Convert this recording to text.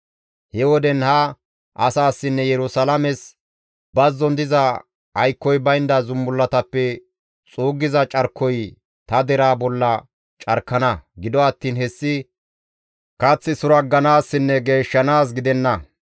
He woden ha asaassinne Yerusalaames, «Bazzon diza aykkoy baynda zumbullatappe xuuggiza carkoy ta deraa bolla carkana; gido attiin hessi kath suragganaassinne geeshshanaas gidenna.